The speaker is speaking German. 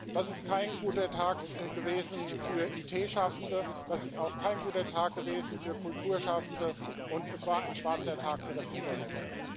Das ist kein guter Tag gewesen für IT Schaffende, das ist auch kein guter Tag gewesen für Kulturschaffende, und es war ein schwarzer Tag für das Internet.